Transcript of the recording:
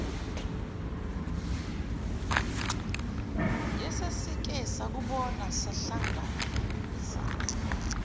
yesesike sakubona sahlangabezana